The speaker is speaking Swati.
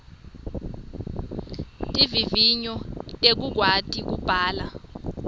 tivivinyo tekukwati kubhala